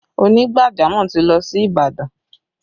Onígbàjamọ̀ ti lọ sí Ìbàdàn